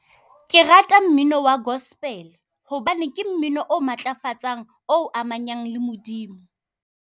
Ke rata mmino wa gospel-e, hobane ke mmino o matlafatsang, o o amanyang le Modimo.